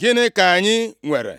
Gịnị ka anyị nwere?”